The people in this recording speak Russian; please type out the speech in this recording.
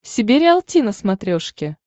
себе риалти на смотрешке